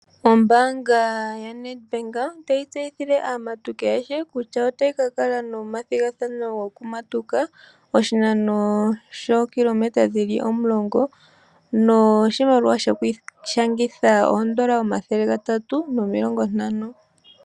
Ombaanga ya NedBank otayi tseyithile aamatuki ayehe kutya otayi ka kala nomathigathano goku matuka, oshinano shookilometa dhili omulongo. Noshimaliwa sho kwiishangitha oondola omathele gatatu nomilongo ntano.